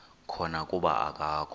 khona kuba akakho